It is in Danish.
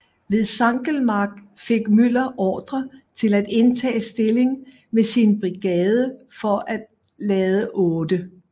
Ved Sankelmark fik Müller ordre til at indtage stilling med sin brigade for at lade 8